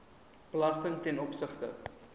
belasting ten opsigte